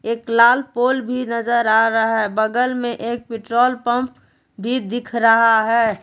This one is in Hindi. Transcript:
एक लाल पोल भी नजर आ रहा है बगल में एक पेट्रोल पंप भी दिख रहा है।